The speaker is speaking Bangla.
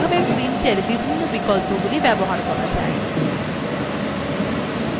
আমরা এখন দেখব কিভাবে printwe বিভিন্ন বিকল্পগুলি ব্যবহার করা যায়